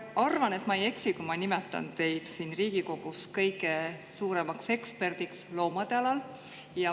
Ma arvan, et ma ei eksi, kui ma nimetan teid siin Riigikogus kõige suuremaks eksperdiks loomade alal.